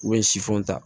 U bɛ sifinw ta